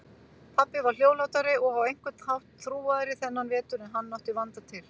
Pabbi var hljóðlátari og á einhvern hátt þrúgaðri þennan vetur en hann átti vanda til.